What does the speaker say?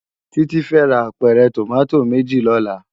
Titi fè rá ápèrè tómàtó méjí lòlá